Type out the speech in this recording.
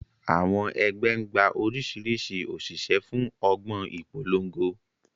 Àwọn ẹgbẹ́ ń gba oríṣiríṣi òṣìṣẹ́ fún ọgbọ́n ìpolongo.